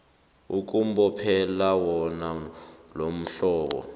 ukumbophela wona lomhlobo